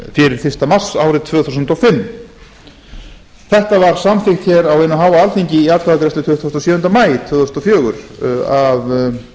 fyrir fyrsta mars árið tvö þúsund og fimm þetta var samþykkt hér á hinu háa alþingi í atkvæðagreiðslu tuttugasta og sjöunda maí tvö þúsund og fjögur af